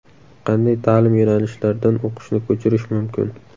Qanday ta’lim yo‘nalishlardan o‘qishni ko‘chirish mumkin?